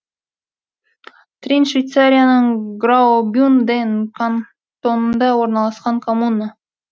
трин швейцарияның граубюнден кантонында орналасқан коммуна